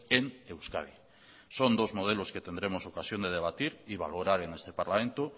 en euskadi son dos modelos que tendremos ocasión de debatir y valorar en este parlamento